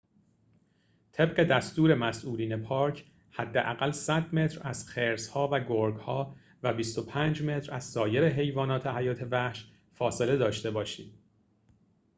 طبق دستور مسئولین پارک حداقل ۱۰۰ متر از خرس‌ها و گرگ‌ها و ۲۵ متر از سایر حیوانات حیات وحش فاصله داشته باشید